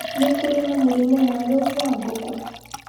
nĩ kũrĩ na mũrimũ mwerũ wa ngũkũ